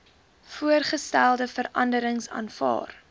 voorgestelde veranderings aanvaar